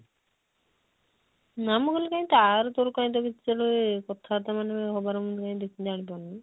ନା ମୁଁ କହିଲି କାଇଁ ତାର ତୋର ତ କାଇଁ କିଛି କଥା ବାର୍ତା ମାନେ ହବାର ମୁଁ କାଇଁ ଜାଣିପାରୁନି